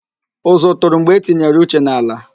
Ụzụ tụrụ mgbe e tinyere Uche n'ala